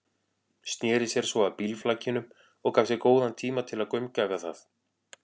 Sneri sér svo að bílflakinu og gaf sér góðan tíma til að gaumgæfa það.